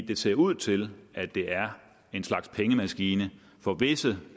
det ser ud til at det er en slags pengemaskine for visse